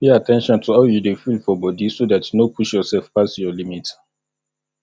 pay at ten tion to how you dey feel for body so dat you no push yourself pass your limit